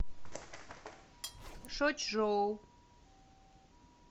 шочжоу